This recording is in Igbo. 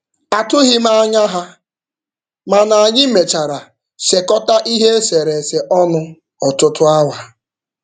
Atụghị m anya ha, mana anyị mechara sekọta ihe eserese ọnụ ọtụtụ awa.